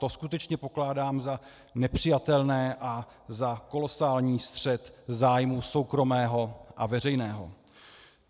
To skutečně pokládám za nepřijatelné a za kolosální střet zájmu soukromého a veřejného.